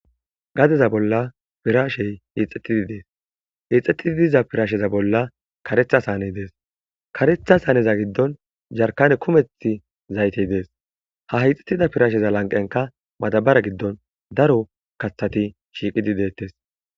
gadeza bolla pirashey hiixxettidi dees hiixxettidi diza pirasheza bolla karetha s aaney dees karetha aaneza giddon jarkane kumethi zaytey dees ha hixxettida piraasheza lanqenka madabara giddon daro kathati shiiqidi deettes